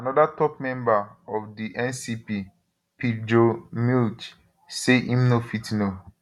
anoda top member of di ncp pirjo mlj say im no fit no fit